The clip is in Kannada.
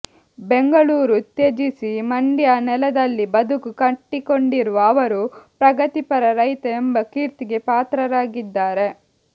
ಬೆಂಗಳೂರು ತ್ಯಜಿಸಿ ಮಂಡ್ಯ ನೆಲದಲ್ಲಿ ಬದುಕು ಕಟ್ಟಿಕೊಂಡಿರುವ ಅವರು ಪ್ರಗತಿಪರ ರೈತ ಎಂಬ ಕೀರ್ತಿಗೆ ಪಾತ್ರರಾಗಿದ್ದಾರೆ